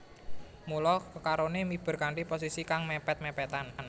Mula kekaroné miber kanthi posisi kang mèpèt mèpètan